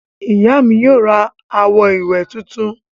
Ìyá mi yóò ra àwo-ìwẹ̀ tuntun.